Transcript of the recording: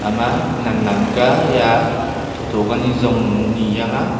ema nan nan kya he a tho tho ka ni zong ni chang aa.